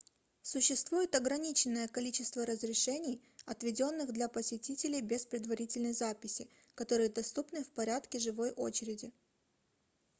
существует ограниченное количество разрешений отведённых для посетителей без предварительной записи которые доступны в порядке живой очереди